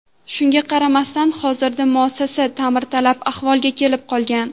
Shunga qaramasdan, hozirda muassasa ta’mirtalab ahvolga kelib qolgan .